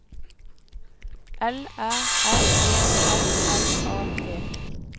L Æ R E R L A G